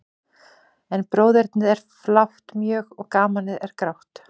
En bróðernið er flátt mjög, og gamanið er grátt.